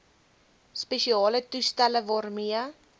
spesiale toestelle waarmee